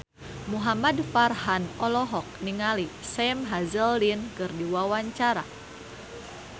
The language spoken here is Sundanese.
Muhamad Farhan olohok ningali Sam Hazeldine keur diwawancara